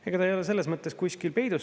Ega ta ei ole selles mõttes kuskil peidus.